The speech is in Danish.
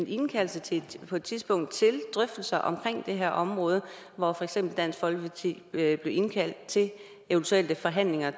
indkaldelse på et tidspunkt til drøftelser om det her område hvor for eksempel dansk folkeparti bliver indkaldt til eventuelle forhandlinger